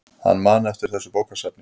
Hann man eftir þessu bókasafni.